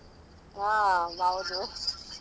ಅಹ್ ಹೌದು